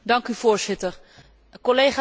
Collega's, laten wij eerlijk zijn.